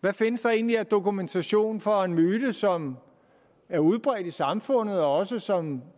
hvad findes der egentlig af dokumentation for en myte som er udbredt i samfundet og som